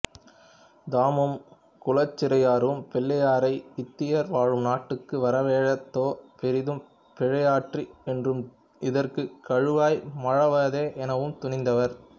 தாமும் குலச்சிறையாரும் பிள்ளையாரை இத்தீயர் வாழும் நாட்டுக்கு வரவழைத்ததே பெரிதும் பிழையாயிற்று என்றும் இதற்குக் கழுவாய் மாழ்வதே எனவும் துணிந்தார்